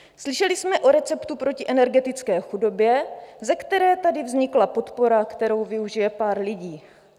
Slyšeli jsme o receptu proti energetické chudobě, ze které tady vznikla podpora, kterou využije pár lidí.